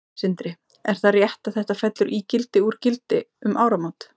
Sindri: Er það rétt að þetta fellur í gildi úr gildi um áramót?